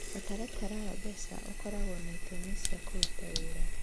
Ũtaratara wa mbeca ũkoragwo na itũmi cia kũruta wĩra.